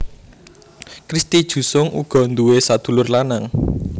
Christy Jusung uga nduwé sadulur lanang